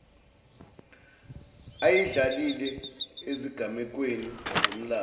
ayidlalile ezigamekweni zomlando